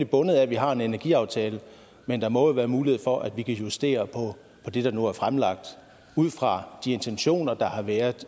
bundet af at vi har en energiaftale men der må jo være mulighed for at vi kan justere på det der nu er fremlagt ud fra de intentioner der har været